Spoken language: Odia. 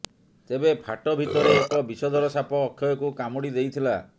ତେବେ ଫାଟ ଭିତରେ ଏକ ବିଷଧର ସାପ ଅକ୍ଷୟକୁ କାମୁଡ଼ି ଦେଇଥିଲା